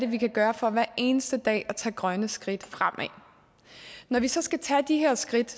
vi gøre for hver eneste dag at tage grønne skridt fremad når vi så skal tage de her skridt